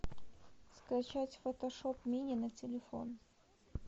скачать фотошоп мини на телефон